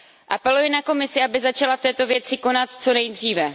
Apeluji na Komisi, aby začala v této věci konat co nejdříve.